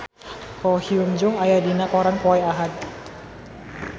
Ko Hyun Jung aya dina koran poe Ahad